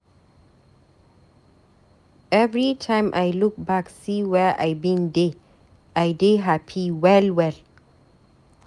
Everytime I look back see where I bin dey, I dey hapi well well.